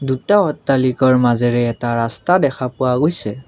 দুটা অট্টালিকাৰ মাজেৰে এটা ৰাস্তা দেখা পোৱা গৈছে।